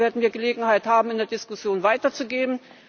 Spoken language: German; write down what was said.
Aber dazu werden wir Gelegenheit haben, in der Diskussion weiterzugehen.